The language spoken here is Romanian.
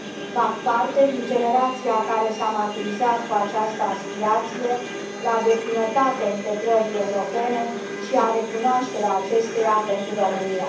Fac parte din generația care s a maturizat cu această aspirație la deplinătatea integrării europene și la recunoașterea acesteia pentru România.